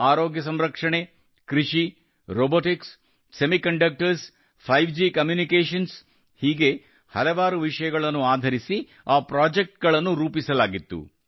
ಆರೋಗ್ಯ ಸಂರಕ್ಷಣೆ ಕೃಷಿ robotics semiconductors five G communications ಹೀಗೆ ಹಲವಾರು ವಿಷಯಗಳನ್ನು ಆಧರಿಸಿ ಆ ಪ್ರಾಜೆಕ್ಟ್ ಗಳನ್ನು ರೂಪಿಸಲಾಗಿತ್ತು